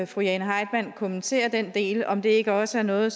fru jane heitmann kommentere den del om det ikke også er noget